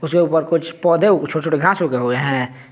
के ऊपर कुछ पौधे छोटे छोटे घास उगे हुए है।